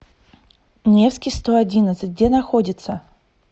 невский сто одиннадцать где находится